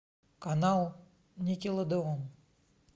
канал никелодеон